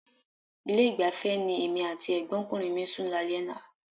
Ilé-ìgbafẹ́ ni èmi àti ẹ̀gbọ́nkùnrin mi sùn lálẹ́ àná.